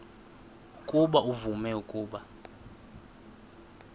ukuba uvume ukuba